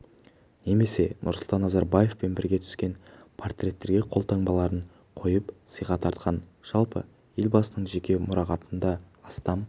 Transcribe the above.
немесе нұрсұлтан назарбаевпен бірге түскен портреттерге қолтаңбаларын қойып сыйға тартқан жалпы елбасының жеке мұрағатында астам